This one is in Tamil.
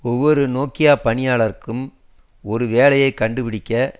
ஒவ்வொரு நோக்கியா பணியாளருக்கும் ஒரு வேலையை கண்டுபிடிக்க